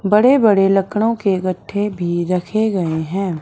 बड़े बड़े लकड़ों के गट्ठे भी रखे गए हैं।